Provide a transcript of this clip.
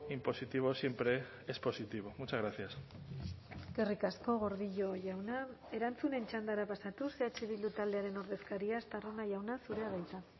impositivo siempre es positivo muchas gracias eskerrik asko gordillo jauna erantzunen txandara pasatuz eh bildu taldearen ordezkaria estarrona jauna zurea da hitza